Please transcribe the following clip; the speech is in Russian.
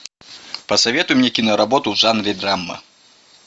посоветуй мне киноработу в жанре драма